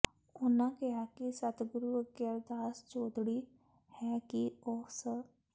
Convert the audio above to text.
ਉਨ੍ਹਾਂ ਕਿਹਾ ਕਿ ਸਤਿਗੁਰੂ ਅੱਗੇ ਅਰਦਾਸ ਜੋਦੜੀ ਹੈ ਕਿ ਉਹ ਸ